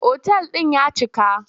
Otal ɗin ya cika.